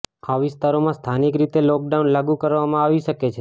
આ વિસ્તારોમાં સ્થાનિક રીતે લોકડાઉન લાગુ કરવામાં આવી શકે છે